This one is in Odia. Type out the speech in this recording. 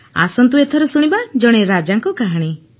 ଆସନ୍ତୁ ଏଥର ଶୁଣିବା ଜଣେ ରାଜାଙ୍କ କାହାଣୀ